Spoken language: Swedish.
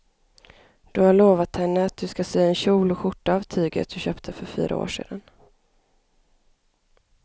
Du har lovat henne att du ska sy en kjol och skjorta av tyget du köpte för fyra år sedan.